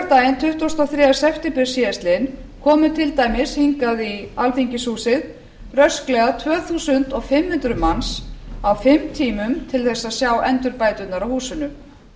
laugardaginn tuttugasta og þriðja september síðastliðinn komu til dæmis hingað í alþingishúsið rösklega tvö þúsund fimm hundruð manns á fimm tímum til þess að sjá endurbæturnar á húsinu